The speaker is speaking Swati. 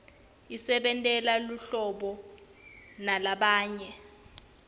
isentela buhlobo nalabanye